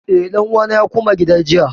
Eh, ɗan uwana ya koma gida jiya